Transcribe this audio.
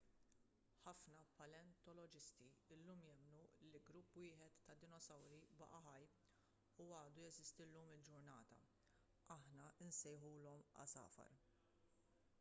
ħafna paleontoloġisti llum jemmnu li grupp wieħed ta' dinosawri baqa' ħaj u għadu jeżisti llum il-ġurnata aħna nsejħulhom għasafar